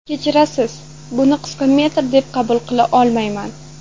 Kechirasiz, buni qisqa metr deb qabul qila olmayman.